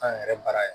An yɛrɛ baara ye